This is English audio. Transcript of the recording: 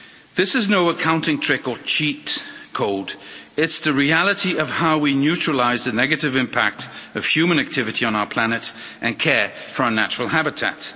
This is no accounting trick or cheat code it's the reality of how we neutralise the negative impact of human activity on our planet and care for our natural habitat.